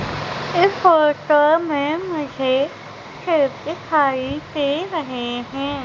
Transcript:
इस फोटो में मुझे खेत दिखाई दे रहे हैं।